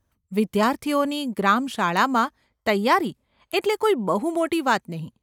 વિદ્યાર્થીઓની ગ્રામશાળામાં તૈયારી એટલે કોઇ બહુ મોટી વાત નહિ.